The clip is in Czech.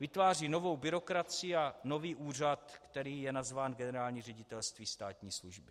Vytváří novou byrokracii a nový úřad, který je nazván Generální ředitelství státní služby.